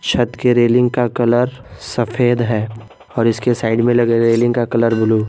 छत की रेलिंग का कलर सफेद है और इसके साइड में लगे रेलिंग का कलर ब्लू ।